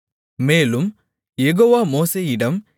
மேலும் யெகோவா மோசேயிடம்